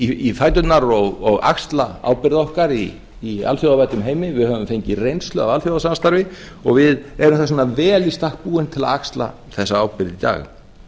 í fæturna og axla ábyrgð okkar í alþjóðavæddum heimi við höfum fengið reynslu af alþjóðasamstarfi og við erum þess vegna vel í stakk búin til að axla þessa ábyrgð í dag